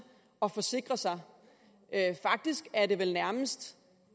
at forsikre sig faktisk er det nærmest